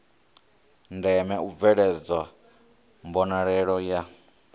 ndeme u bveledzwa mbonalelo ya